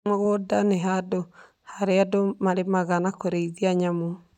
Mũgũnda nĩ handũ harĩa andũ marĩmaga na kũrĩithia nyamũ.